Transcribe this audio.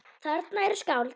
Þarna eru skáld.